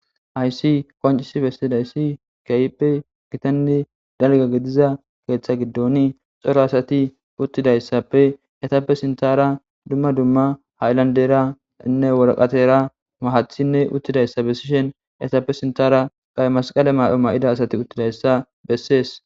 Hayssi koncisi bessidayssi kayppe gitanni dalga gidiza keeththa giddoni xoro asati uttidayssappe etappe sintara dumma dumma haylanderanne woraqatera mahathinne uttidayssa bessishen etappe sintara qay masqale mado ma7ida asati uttidayssa bessees.